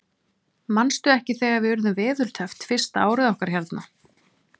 Manstu ekki þegar við urðum veðurteppt fyrsta árið okkar hérna?